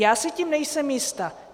Já si tím nejsem jista.